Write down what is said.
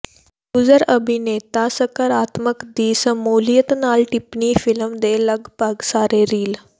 user ਅਭਿਨੇਤਾ ਸਕਾਰਾਤਮਕ ਦੀ ਸ਼ਮੂਲੀਅਤ ਨਾਲ ਟਿੱਪਣੀ ਫਿਲਮ ਦੇ ਲਗਭਗ ਸਾਰੇ ਰੀਲ